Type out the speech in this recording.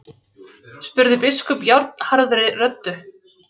spurði biskup járnharðri röddu.